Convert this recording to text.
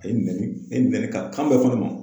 A ye minɛli a minɛli ka kan bɛɛ fɔ a ma